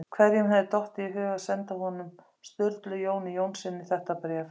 Hverjum hafði dottið í hug að senda honum- Sturlu Jóni Jónssyni- þetta bréf?